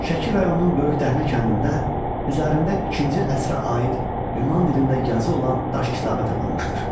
Şəki rayonunun Böyük Dəhnə kəndində üzərində ikinci əsrə aid Yunan dilində yazı olan daş kitabə tapılmışdır.